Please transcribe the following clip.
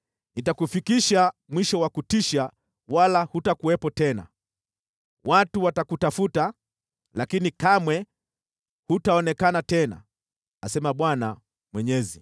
Nitakufikisha mwisho wa kutisha wala hutakuwepo tena. Watu watakutafuta, lakini kamwe hutaonekana tena, asema Bwana Mwenyezi.”